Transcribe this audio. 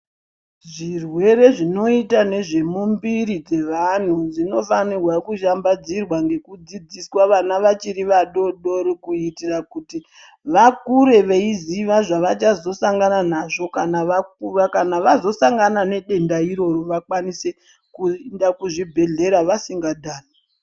Zvirwere zvinoita nezvemumbiri dzevantu zvinofanira kushambadzirwa ngekudzidziswa vana vachiri vadoodori kuitira kuti vakure veiziva zvavachazosangana nazvo kana vakura. Kana vazosangana nedenda iroro vakwanise kuenda kuzvibhedhlera vasingadhani.